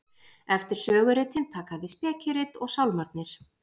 eftir söguritin taka við spekirit og sálmarnir